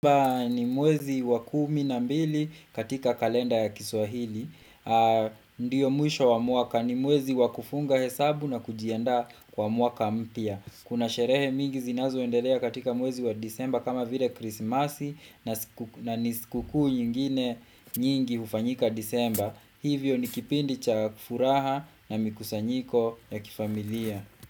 Ni mwezi wa kumi na mbili katika kalenda ya kiswahili. Ndiyo mwisho wa mwaka ni mwezi wa kufunga hesabu na kujianda kwa mwaka mpya. Kuna sherehe mingi zinazo endelea katika mwezi wa disemba kama vile krismasi na nisikuku nyingine nyingi hufanyika disemba. Hivyo ni kipindi cha kufuraha na mikusanyiko ya kifamilia.